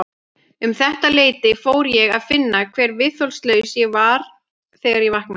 Um þetta leyti fór ég að finna hve viðþolslaus ég var þegar ég vaknaði.